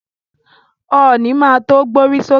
Ọ̀nì má to gbórí sókè.